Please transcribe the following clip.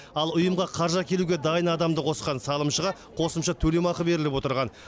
ал ұйымға қаржы әкелуге дайын адамды қосқан салымшыға қосымша төлемақы беріліп отырған